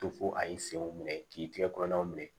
To fo a ye senw minɛ k'i tigɛ kɔnɔnaw minɛ